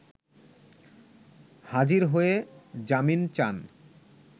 হাজির হয়ে জামিন চান